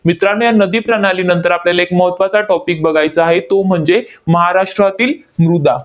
मित्रांनो, या नदीप्रणालीनंतर आपल्याला एक महत्त्वाचा topic बघायचा आहे, तो म्हणजे महाराष्ट्रातील मृदा.